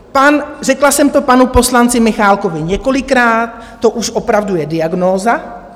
Řekla jsem to panu poslanci Michálkovi několikrát, to už opravdu je diagnóza.